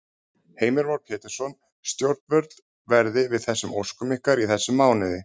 Heimir Már Pétursson: Stjórnvöld verði við þessum óskum ykkar í þessum mánuði?